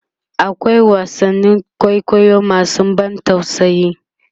akwai wasannin kwaikwayo masu ban tausayi